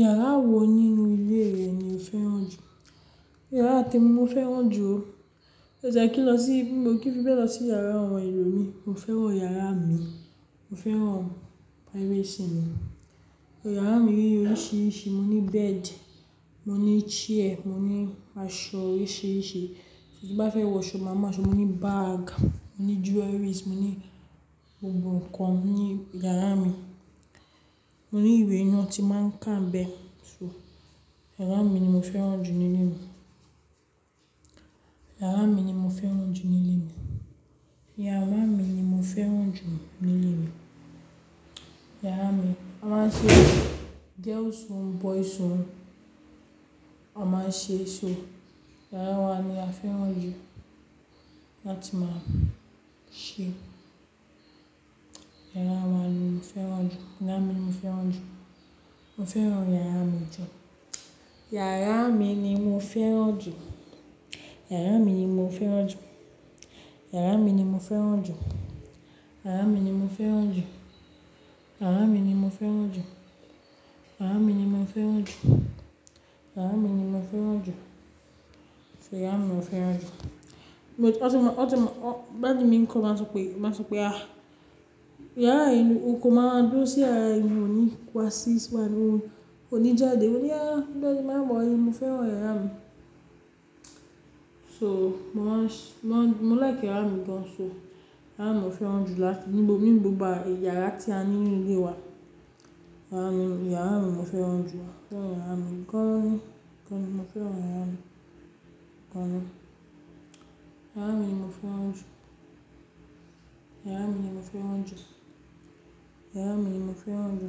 Yàrá wo nínú ilé rẹ ni o fẹ́ràn jù? Yàrá témi mo fẹ́ran jù ó, mi o tiẹ kí lọ sí bí mo kì í fi bẹ lọsí yàrá àwọn ẹlòmíì. Mo fẹ́ran yàrá mi, mo fẹ́ran privacy mi. Yàrá mi ní oríṣiríṣi, mo ní bed, mo ní chair, mo ní aṣọ orísíríṣi tí bá fẹ́ wọ ṣò màá ma sọ, mó ní bag, mo ní jewelries, mo ní gbogbo nǹkan ní ìyàrá mí. Mo ní ìwé náà tí maa n ká mbẹ̀ so yàrá mi ni mo fẹ́ran jù nínú mi. Yàrà mi ni mọ fẹ́ran jù ninú mi, yàrà mi ni mò fẹ́ran jú ninú mi. Yàrà mi a máa ṣe girls room, boys room á máa ṣe śo yara wa la fẹ́ran jú láti máa ṣe, yára wa ni mo fẹ́ran jù. Yàrà mi ni mo fẹ́ran jù, mo fẹ́ran iyàra mi jù. Iyàrà mi ni mo fẹ́ran ju, iyàrà mi ni mo fẹ́ran ju, iyàrà mi ni mo fẹ́ran ju, iyàrà mi ni mo fẹ́ran ju. Iyàrà mi ni mo fẹ́ran ju, iyàrà mi ni mo fẹ́ran ju, iyàrà mi ni mo fẹ́ran ju, iyàrà mi ò fẹ́ran jù but wontunma wontunma daddy mi kán màa n sope màa n só pẹ aa lyàrà yii ni o kan maa dúro sì yara yi ni oní wasi-- oní jade mó ní ah daddy ma worry mo feran yara mi So mó maa n shh mo like yàrà mi gán so yàrà mi ni mò fèrán jú làtí níbó ninu gbogbo yàrà ti ni ninu ilè wà-- iyàrà mi mò fèrán jú mò fèrán iyàrà mi gan mò fèrán iyàrà mi gaan iyàrà mi ni mò fèrán jú iyàrà mi mò fèrán jú iyàrà mi mò fèrán jú